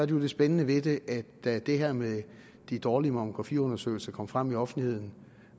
det spændende ved det at da det her med de dårlige mammografiundersøgelser kom frem i offentligheden